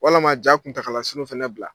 Walama ja kuntagalasurun fɛnɛ bila